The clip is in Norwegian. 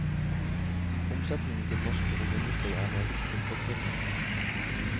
Omsetningen til norsk romindustri er meget tilfredstillende.